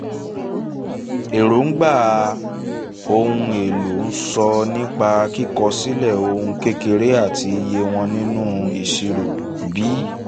èróńgbà ohun èlò' ń sọ nípa kíkọ̀ sílẹ̀ ohun kékeré àti iye won nínú ìṣirò. b)